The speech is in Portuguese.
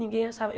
Ninguém achava.